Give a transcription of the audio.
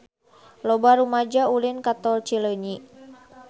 Loba rumaja ulin ka Tol Cileunyi